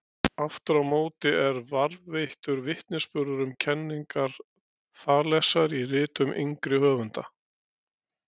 Aftur á móti er varðveittur vitnisburður um kenningar Þalesar í ritum yngri höfunda.